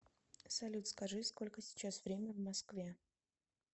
салют скажи сколько сейчас время в москве